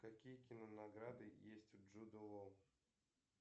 какие кинонаграды есть у джуда лоу